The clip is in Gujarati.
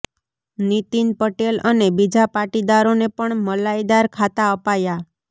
નીતિન પટેલ અને બીજા પાટીદારોને પણ મલાઈદાર ખાતાં અપાયાં